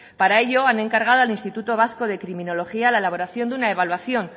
para ello han encargado al instituto vasco de criminología la elaboración de una evaluación